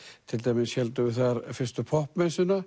til dæmis héldum við þar fyrstu